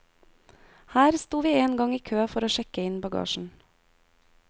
Her sto vi en gang i kø for å sjekke inn bagasjen.